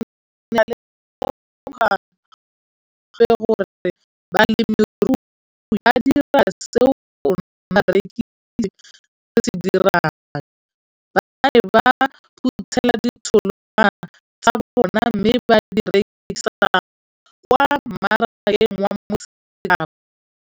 Ke ne ka lemoga gape gore balemirui ba dira seo rona barekisi re se dirang - ba ne ba phuthela ditholwana tsa bona mme ba di rekisa kwa marakeng wa Motsekapa.